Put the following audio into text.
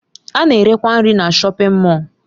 A na-erekwa nri na shọpin Mọll.